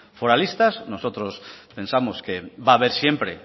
foralistas nosotros pensamos que va haber siempre